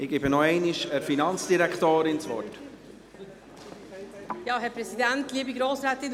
Ich gebe der Finanzdirektorin noch einmal das Wort.